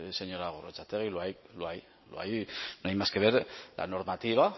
señora gorrotxategi lo hay no hay más que ver la normativa